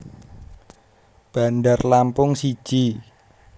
Bandar Lampung siji